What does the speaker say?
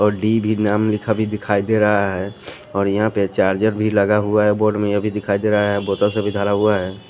और डी भी नाम लिखा भी दिखाई दे रहा है और यहां पे चार्जर भी लगा हुआ है बोर्ड में यह भी दिखाई दे रहा है बोतल से भी धरा हुआ है।